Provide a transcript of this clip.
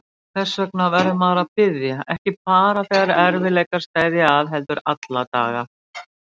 Þess vegna verður maður að biðja, ekki bara þegar erfiðleikar steðja að heldur alla daga.